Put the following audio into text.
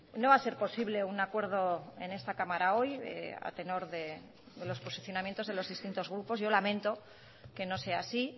no va a ser posible un acuerdo en esta cámara hoy a tenor de los posicionamientos de los distintos grupos yo lamento que no sea así